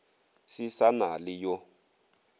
se sa na le yo